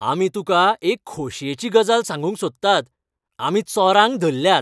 आमी तुका एक खोशयेची गजाल सांगूंक सोदतात, आमी चोरांक धरल्यात.